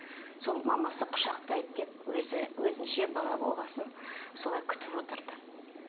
сол мамасы құшақтайды деп өзі өзінше бала болған соң солай күтіп отырды